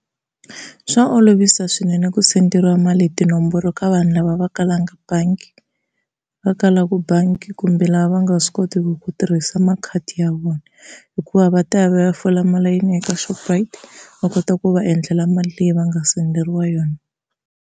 Swa olovisa swinene ku senderiwa mali hi tinomboro ka vanhu lava va kalaka bangi, va kalaka bangi kumbe lava va nga swi kotiku ku tirhisa makhadi ya vona, hikuva va ta ya va ya fola malayini eka Shoprite va kota ku va endlela mali leyi va nga senderiwa yona.